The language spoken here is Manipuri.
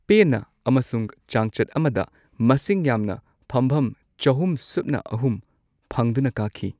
ꯄꯦꯟꯅ ꯑꯃꯁꯨꯡ ꯆꯥꯡꯆꯠ ꯑꯃꯗ ꯃꯁꯤꯡ ꯌꯥꯝꯅ ꯐꯝꯚꯝ ꯆꯍꯨꯝ ꯁꯨꯞꯅ ꯑꯍꯨꯝ ꯐꯪꯗꯨꯅ ꯀꯥꯈꯤ꯫